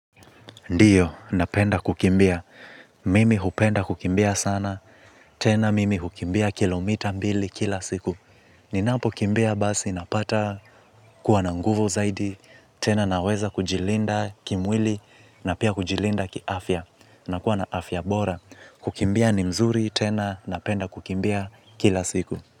Ndiyo, napenda kukimbia. Mimi hupenda kukimbia sana, tena mimi hukimbia kilomita mbili kila siku. Ninapo kimbia basi napata kuwa na nguvu zaidi, tena naweza kujilinda kimwili na pia kujilinda kiafya. Nakua na afya bora. Kukimbia ni mzuri, tena napenda kukimbia kila siku.